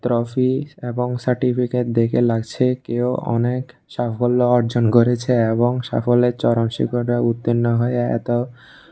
toffee এবং certificate দেখে লাগছে কেউ অনেক সাফল্য অর্জন করেছে এবং সাফল্যের চরম শিখরে উত্তীর্ণ হয়ে এত --